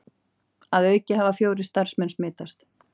Að auki hafa fjórir starfsmenn smitast